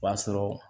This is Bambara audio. O b'a sɔrɔ